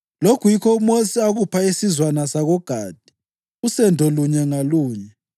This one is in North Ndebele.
Lokhu yikho uMosi akupha isizwana sakoGadi usendo lunye ngalunye: